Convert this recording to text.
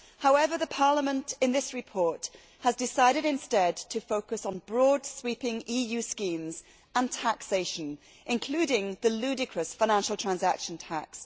However, in this report Parliament has decided instead to focus on broad sweeping EU schemes and taxation, including the ludicrous Financial Transaction Tax.